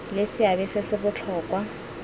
le seabe se se botlhokwa